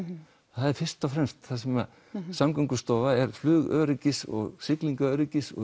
það er fyrst og fremst það sem Samgöngustofa er flugöryggis siglingaöryggis og